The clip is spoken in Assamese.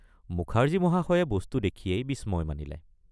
মুখাৰ্জী মহাশয়ে বস্তু দেখিয়েই বিস্ময় মানিলে।